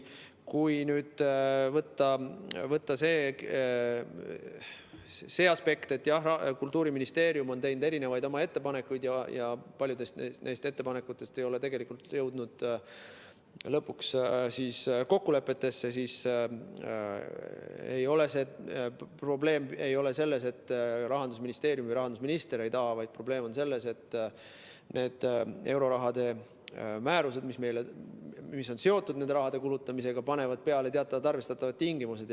Kui nüüd võtta see aspekt, et jah, Kultuuriministeerium on teinud oma ettepanekuid ja paljud neist ettepanekutest ei ole jõudnud kokkulepetesse, siis probleem ei ole selles, et Rahandusministeerium või rahandusminister ei taha, vaid probleem on selles, et need euroraha määrused, mis on seotud selle raha kulutamisega, panevad peale teatavad arvestatavad tingimused.